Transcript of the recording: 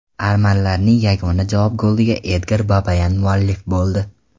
Armanlarning yagona javob goliga Edgar Babayan muallif bo‘ldi.